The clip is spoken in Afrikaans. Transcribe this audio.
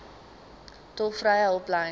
tolvrye hulplyn